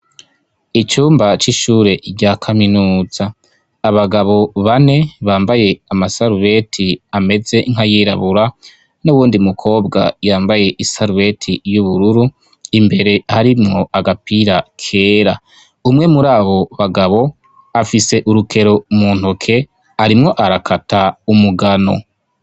icumba c'ishure rya kaminuza abagabo bane bambaye amasarubeti ameze nkayirabura n'uwundi mukobwa yambaye isarubeti y'ubururu imbere harimwo agapira kera umwe muri abo bagabo afise urukero mu ntoke arimwo arakata umugano